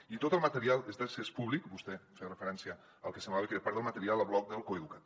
i tot el material és d’accés públic vostè feia referència al que semblava que era part del material al blog del coeduca’t